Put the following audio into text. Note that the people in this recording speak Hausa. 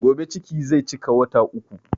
Gobe ciki zai cika wata uku